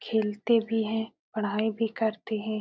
खेलते भी हैं। पढ़ाई भी करते हैं।